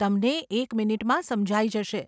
તમને એક મિનિટમાં સમજાઈ જશે.